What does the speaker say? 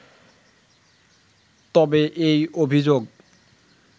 তবে এই অভিযোগ